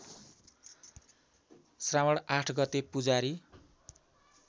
श्रावण ८ गते पुजारी